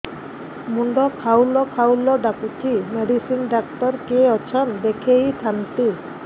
ମୁଣ୍ଡ ଖାଉଲ୍ ଖାଉଲ୍ ଡାକୁଚି ମେଡିସିନ ଡାକ୍ତର କିଏ ଅଛନ୍ ଦେଖେଇ ଥାନ୍ତି